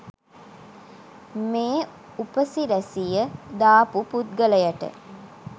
මේ උපසිරැසිය දාපු පුද්ගලයට